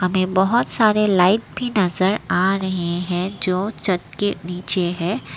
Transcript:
ये बहोत सारे लाइट भी नजर आ रहे हैं जो छत के नीचे है।